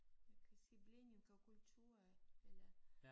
Jeg kan sige blanding af kultur af eller